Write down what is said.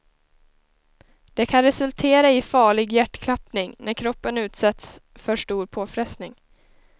Det kan resultera i farlig hjärtklappning när kroppen utsätts för stor påfrestning.